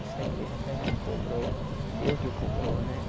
Isso a igreja até já me cobrou, Deus me cobrou, né?